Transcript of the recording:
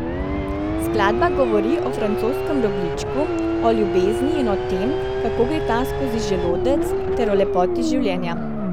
Skladba govori o francoskem rogljičku, o ljubezni in o tem, kako gre ta skozi želodec, ter o lepoti življenja.